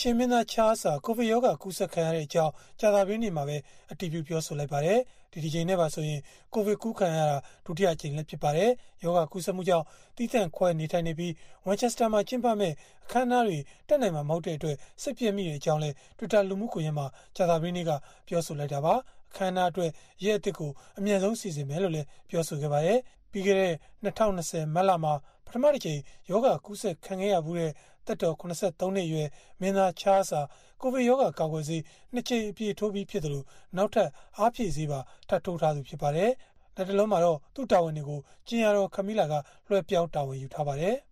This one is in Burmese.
ရှေ့မင်းသား ချားလ်စ် ဟာ ကိုဗစ်ရောဂါ ကူးစက်ခံရကြောင်း ကြာသပတေးနေ့မှာပဲ အတည်ပြုပြောဆိုလိုက်ပါတယ်။ ဒီတကြိမ်နဲ့ပါဆိုရင် ကိုဗစ်ကူးစက်ခံရတာ ဒုတိယအကြိမ်လည်း ဖြစ်ပါတယ်။ ရောဂါကူးစက်မှုကြောင့် သီးသန့်ခွဲနေထိုင်နေပြီး၊ Winchester မှာ ကျင်းပမယ့် အခမ်းအနားတွေ တက်နိုင်မှာ မဟုတ်တဲ့အတွက် စိတ်ပျက်မိကြောင်းလည်း Twitter လူမှုကွန်ရက်မှာ ကြာသပတေးနေ့က ပြောဆိုခဲ့တာပါ။ အခမ်းအနားအတွက် ရက်အသစ် အမြန်ဆုံး စီစဉ်မယ်လို့လည်း ပြောပါတယ်။ ပြီးခဲ့တဲ့ ၂၀၂၀ မတ်လမှာ ပထမတကြိမ် ရောဂါကူးစက်ခံခဲ့ရဖူးတဲ့ သက်တော် ၇၃ နှစ်အရွယ် မင်းသား ချားလ်စ် ဟာ ကိုဗစ်ရောဂါ ကာကွယ်ဆေး ၂ ကြိမ် အပြည့်ထိုးပြီး ဖြစ်သလို၊ နောက်ထပ် အားဖြည့်ဆေးပါ ထပ်ထိုးထားသူ ဖြစ်ပါတယ်။ လတ်တလောမှာတော့ သူ့တာဝန်တွေကို ကြင်ယာတော် Camilla က လွဲှပြောင်း တာဝန်ယူထားပါတယ်။